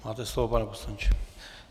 Máte slovo, pane poslanče.